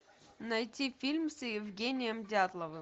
найти фильм с евгением дятловым